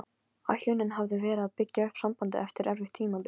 Ætlunin hafði verið að byggja upp sambandið eftir erfitt tímabil.